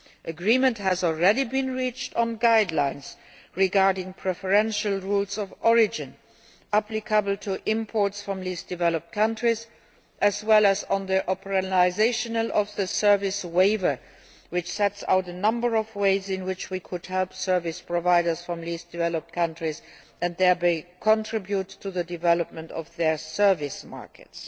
Agreement has already been reached on guidelines regarding preferential rules of origin applicable to imports from least developed countries, and on the implementation of the service waiver which sets out a number of ways in which we could help service providers from least developed countries and thereby contribute to the development of their service markets.